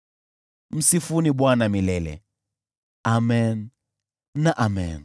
Msifuni Bwana milele! Amen na Amen.